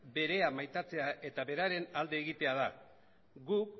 berea maitatzea eta beraren alde egitea da gu